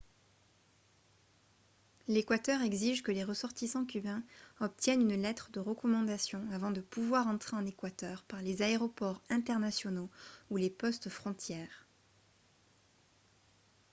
l'équateur exige que les ressortissants cubains obtiennent une lettre de recommandation avant de pouvoir entrer en équateur par les aéroports internationaux ou les postes-frontières